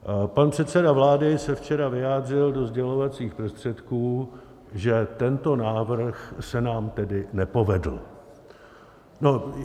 Pan předseda vlády se včera vyjádřil do sdělovacích prostředků, že tento návrh se nám tedy nepovedl.